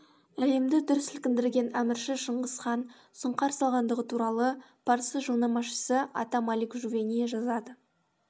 әлемді дүр сілкіндірген әмірші шыңғыс хан сұңқар салғандығы туралы парсы жылнамашысы ата малик жувейни жазады